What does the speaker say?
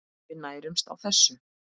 Við nærumst á þessu.